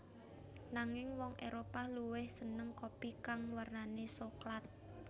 Nanging wong Éropah luwih seneng kopi kang wernane soklat